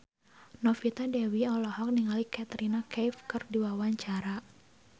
Novita Dewi olohok ningali Katrina Kaif keur diwawancara